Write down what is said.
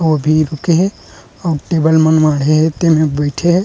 ओ भी रुके हे अउ टेबल मन माड़े हे ते में बईठे हे।